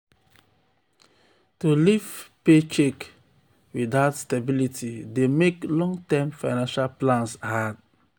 to live paycheck to paycheck without stability dey mek long-term financial plans hard.